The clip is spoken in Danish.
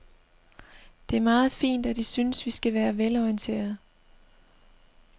Det er meget fint, at I synes, vi skal være velorienterede.